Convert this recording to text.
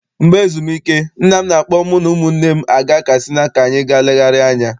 Mgbe ezumike, nna m na-akpọ mụ na ụmụnne m aga Katsina ka anyị ga legharia anya.